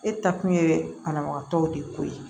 E taa kun ye banabagatɔw de ko ye